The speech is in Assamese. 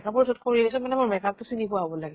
মই যʼত কৰি আহিছো মানে মোৰ makeup তো চিনি পোৱা হʼব লাগে